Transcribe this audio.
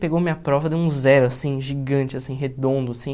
Pegou minha prova, deu um zero, assim, gigante, assim, redondo, assim.